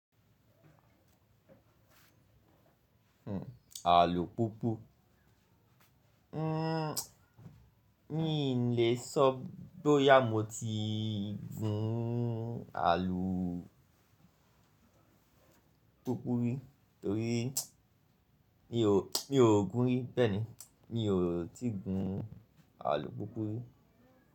Àlùpùpù, mi lè sọ bóyá mo ti gùn àlùpùpù rí torí mi ò gùn rí bẹ́ẹ̀ni, mi ò tí ì gun àlùpùpù rí.